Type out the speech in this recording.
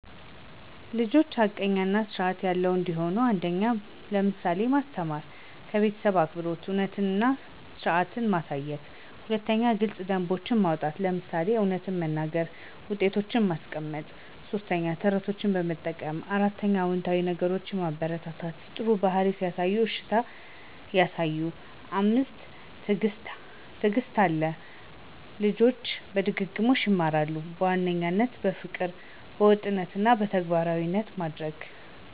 ልጆች ሐቀኛ እና ስርዐት ያለው እንዲሆኑ 1. በምሳሌ ማስተማር - ከቤተሰብ አክብሮት፣ እውነትነት እና ስርዐት ማሳየት። 2. ግልጽ ደንቦች ማውጣት - ለምሳሌ እውነት መናገር እና ውጤቶች ማስቀመጥ። 3. ተረቶችን መጠቀም 4. አዎንታዊ ነገሮችን ማበረታታ - ጥሩ ባህሪ ሲያሳዩ እሺታ ያሳዩ። 5. ትዕግስት አለው - ልጆች በድግግሞሽ ይማራሉ። በዋናነት : ፍቅር፣ ወጥነት እና ተግባራዊ ማድረግ